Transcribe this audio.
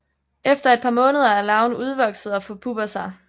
Efter et par måneder er larven udvokset og forpupper sig